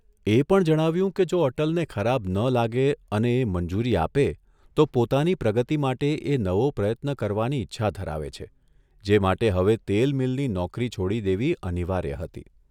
એ પણ જણાવ્યું કે જો અટલને ખરાબ ન લાગે અને એ મંજૂરી આપે તો પોતાની પ્રગતિ માટે એ નવો પ્રયત્ન કરવાની ઇચ્છા ધરાવે છે જે માટે હવે તેલ મીલની નોકરી છોડી દેવી અનિવાર્ય હતી.